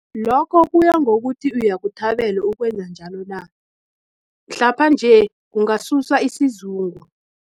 Lokho kuyangokuthi uyakuthabele ukwenza njalo na, mhlapha-nje, kungasusa isizungu.